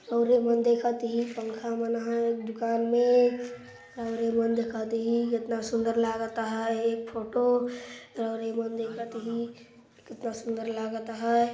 रवरे मन देखत ही पंखा मन आहय एक दुकान मे रउरे मन देखा तही केतना सुंदर लागत आहय एक फोटो रउरे मन देखा तही केतना सुंदर लागत आहय।